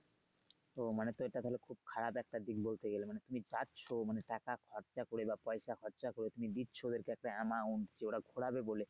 ও মানে তো এটা তাহলে খুব খারাপ একটা দিক বলতে গেলে মানে তুমি যাচ্ছো মানে টাকা খরচা করে বা পয়সা খরচা তুমি দিচ্ছো ওদের কাছে একটা amount যে ওরা ঘোরাবে বলে।